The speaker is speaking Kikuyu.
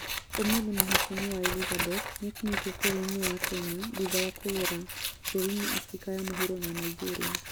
Ũmũthĩ Hon.Elizabeth nĩekinyĩtie bũrũri-inĩ wa Kenya thutha wa kũgena bũrũri-inĩ Abirika ya mũhuro na Nigeria